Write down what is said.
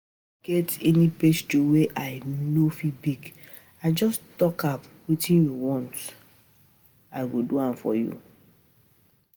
E no get any um pastry wey I no go um fit bake just talk um wetin you want